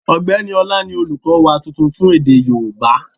Ọ̀gbẹ́ni Ọlá ni olùkọ́ wa tuntun fún èdè yóòbá